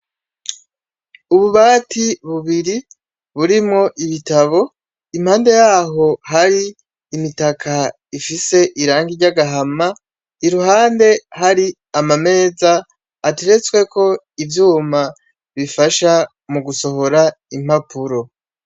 Ububati bubiri burimwo ibitabo impande yaho hari imitaka ifise irangi ry' agahama iruhande hari amameza ateretsweko ivyuma bifasha mu gusohora impapuro.